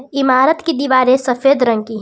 इमारत की दीवारें सफेद रंग की हैं।